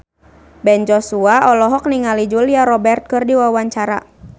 Ben Joshua olohok ningali Julia Robert keur diwawancara